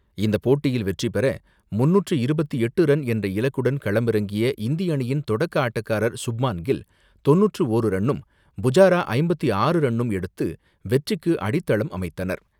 இந்தபோட்டியில் வெற்றி பெற முன்னூற்று இருபத்து எட்டு ரன் என்ற இலக்குடன் களமிறங்கிய இந்திய அணியின் தொடக்க ஆட்டக்காரர் சுப்மான் கில் தொண்ணூற்றி ஒர் ரன்னும், புஜாரா ஐம்பத்து ஆறு ரன்னும் எடுத்து வெற்றிக்கு அடித்தளம் அமைத்தனர்.